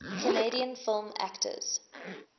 canadian film actors